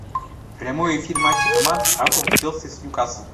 прямой эфир матча команд апл челси с ньюкасл